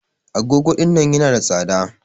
Agogo ɗinnan yana da tsada.